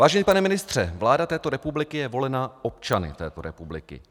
Vážený pane ministře, vláda této republiky je volena občany této republiky.